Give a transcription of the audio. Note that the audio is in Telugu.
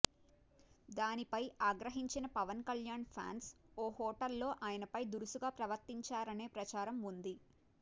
దానిపై ఆగ్రహించిన పవన్ కల్యాణ్ ఫ్యాన్స్ ఓ హోటల్లో ఆయనపై దురుసుగా ప్రవర్తించారనే ప్రచారం ఉంది